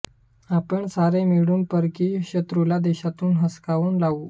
आपण सारे मिळून परकीय शत्रूला देशातून हुसकावून लावू